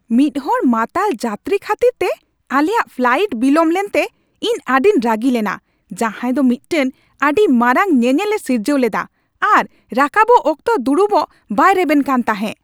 ᱢᱤᱫᱦᱚᱲ ᱢᱟᱛᱟᱞ ᱡᱟᱛᱨᱤ ᱠᱷᱟᱹᱛᱤᱨᱛᱮ ᱟᱞᱮᱭᱟᱜ ᱯᱷᱟᱞᱟᱭᱤᱴ ᱵᱤᱞᱚᱢ ᱞᱮᱱᱛᱮ ᱤᱧ ᱟᱹᱰᱤᱧ ᱨᱟᱹᱜᱤ ᱞᱮᱱᱟ ᱡᱟᱦᱟᱸᱭ ᱫᱚ ᱢᱤᱫᱴᱟᱝ ᱟᱹᱰᱤ ᱢᱟᱨᱟᱝ ᱧᱮᱱᱮᱞᱮ ᱥᱤᱨᱡᱟᱹᱣ ᱞᱮᱫᱟ ᱟᱨ ᱨᱟᱠᱟᱵᱚᱜ ᱚᱠᱛᱚ ᱫᱩᱲᱩᱵᱚᱜ ᱵᱟᱭ ᱨᱮᱵᱮᱱ ᱠᱟᱱ ᱛᱟᱦᱮᱸ ᱾